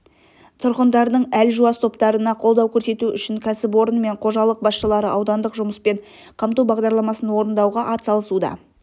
тұрғындардың әлжуаз топтарына қолдау көрсету үшін кәсіпорын мен қожалық басшылары аудандық жұмыспен қамту бағдарламасын орындауға ат салысуда